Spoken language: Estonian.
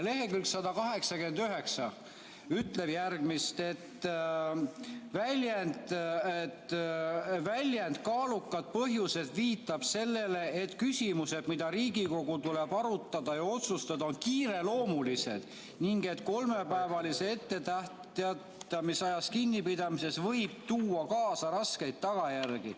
Lehekülg 189 ütleb, et väljend "kaalukad põhjused" viitab sellele, et küsimused, mida Riigikogul tuleb arutada ja otsustada, on kiireloomulised ning et kolmepäevalisest etteteatamisajast kinnipidamine võib tuua kaasa raskeid tagajärgi.